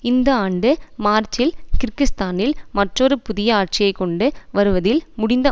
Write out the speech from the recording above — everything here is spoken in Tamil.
இந்த ஆண்டு மார்ச்சில் கிர்கிஸ்தானில் மற்றொரு புதிய ஆட்சியை கொண்டு வருவதில் முடிந்த